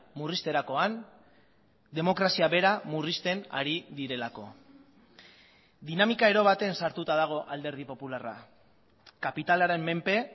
murrizterakoan demokrazia bera murrizten ari direlako dinamika ero baten sartuta dago alderdi popularra kapitalaren menpe